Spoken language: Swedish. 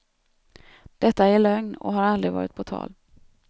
Detta är lögn och har aldrig varit på tal.